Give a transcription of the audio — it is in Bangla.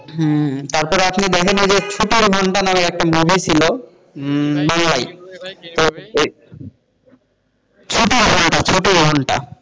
হ্যাঁ তারপরে আপনি দেখেন ওই যে ছুটির ঘণ্টা নামে একটা movie ছিল হম বাংলায়, ছুটির ঘণ্টা ছুটির ঘণ্টা,